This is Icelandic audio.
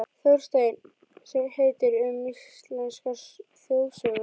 Þorstein sem heitir: Um íslenskar þjóðsögur.